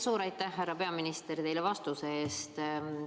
Suur aitäh, härra peaminister, teile vastuse eest!